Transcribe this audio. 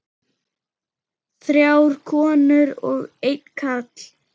Þrjár konur og einn karl.